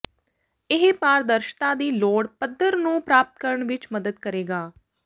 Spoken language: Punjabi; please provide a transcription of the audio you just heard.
ਇਹ ਪਾਰਦਰਸ਼ਤਾ ਦੀ ਲੋੜ ਪੱਧਰ ਨੂੰ ਪ੍ਰਾਪਤ ਕਰਨ ਵਿੱਚ ਮਦਦ ਕਰੇਗਾ